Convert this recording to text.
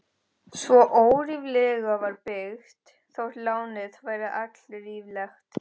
Svo óríflega var byggt, þótt lánið væri allríflegt.